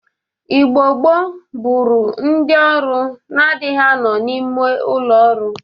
Igbo gboo bụrụ ndị ọrụ na-adịghị anọ n'ime ụlọ ọrụ.